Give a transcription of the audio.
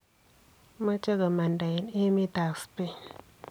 Moche komanda en emet ab Spain .